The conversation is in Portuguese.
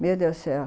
Meu Deus do céu!